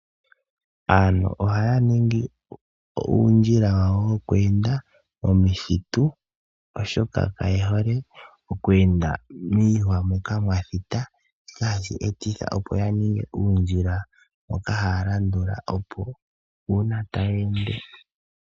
Aantu ohaningi uundjila wawo woku enda miiheke oshoka kayehole oku enda miihwa moka mwathita ,ohashi etitha opo yaninge uundjila mboka haya la ndula uuna taya ende.